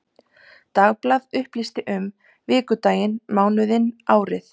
Dagblað upplýsti um vikudaginn, mánuðinn, árið.